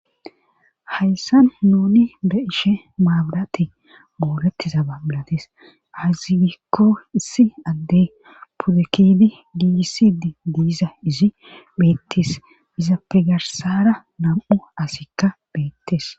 Hayssan nuni be ishe maablati booletti saba bilatis azibikko issi addey pudekidi giigissidi diiza izi beettis iza pegarsara nam'u asikka beettes.